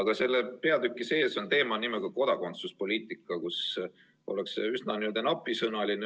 Aga selle peatüki sees on teemana kodakondsuspoliitika, kus ollakse üsna napisõnaline.